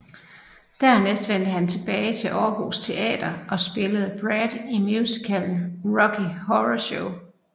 Dernæst vendte han tilbage til Aarhus Teater og spillede Brad i musicalen Rocky Horror Show